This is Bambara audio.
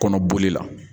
Kɔnɔboli la